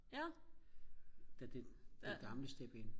da det det gamle step in